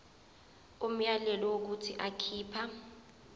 umyalelo wokuthi akhipha